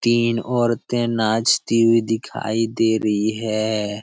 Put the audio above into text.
तीन औरते नाचती हुई दिखाई दे रही है।